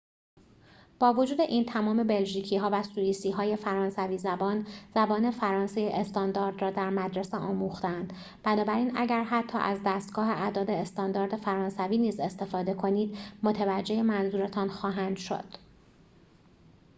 با وجود این تمام بلژیکی‌ها و سوئیسی‌های فرانسوی زبان زبان فرانسه استاندارد را در مدرسه آموخته‌اند بنابراین اگر حتی از دستگاه اعداد استاندارد فرانسوی نیز استفاده کنید متوجه منظورتان خواهند شد